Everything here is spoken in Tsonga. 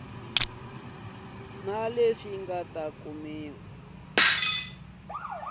na leswi nga ta kumiwa